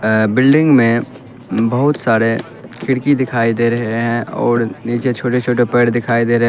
अ building में बहुत सारे खिड़की दिखाई दे रहे है और नीचे छोटे छोटे पेड़ दिखाई दे रहे है।